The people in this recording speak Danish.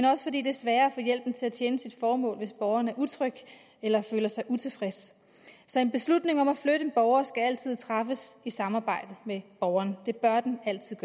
også fordi det er sværere at få hjælpen til at tjene dens formål hvis borgeren er utryg eller føler sig utilfreds så en beslutning om at flytte en borger skal altid træffes i samarbejde med borgeren det bør den altid